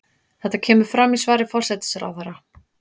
Þetta kemur fram í svari forsætisráðherra